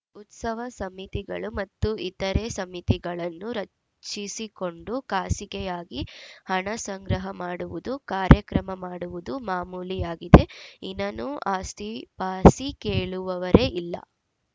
ಉತ್ಸವ ಸಮಿತಿಗಳು ಮತ್ತು ಇತರೆ ಸಮಿತಿಗಳನ್ನು ರಚಿಸಿಕೊಂಡು ಖಾಸಗಿಯಾಗಿ ಹಣಸಂಗ್ರಹ ಮಾಡುವುದು ಕಾರ್ಯಕ್ರಮ ಮಾಡುವುದು ಮಾಮೂಲಿಯಾಗಿದೆ ಇನನು ಆಸ್ತಿಪಾಸಿ ಕೇಳುವವರೇ ಇಲ್ಲ